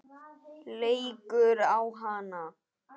Leikur á hana.